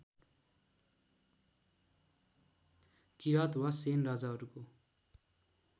किराँत वा सेन राजाहरूको